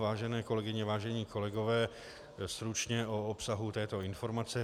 Vážené kolegyně, vážení kolegové, stručně o obsahu této informace.